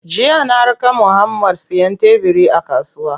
Jiya na raka Muhammad siyan tebiri a kasuwa.